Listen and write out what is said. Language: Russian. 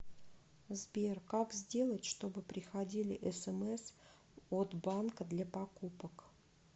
сбер как сделать чтобы приходили смс от банка для покупок